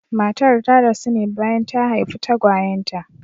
Matar ta rasu ne bayan ta haifi tagwayen ta.